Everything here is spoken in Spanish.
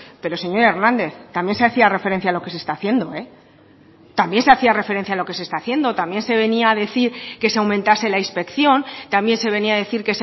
pero señor hernández también se hacía referencia a lo que se está haciendo también se hacía referencia a lo que se está haciendo también se venía a decir que se aumentase la inspección también se venía a decir